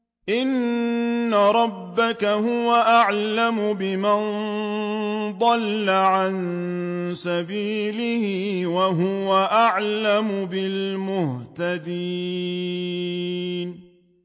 إِنَّ رَبَّكَ هُوَ أَعْلَمُ بِمَن ضَلَّ عَن سَبِيلِهِ وَهُوَ أَعْلَمُ بِالْمُهْتَدِينَ